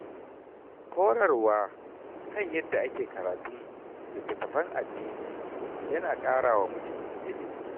Horarwa kan yadda ake karatun littattafan addini ya na ƙara wa mutum ilimi.